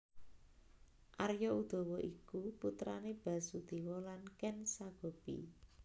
Arya Udawa iku putrane Basudewa lan Ken Sagopi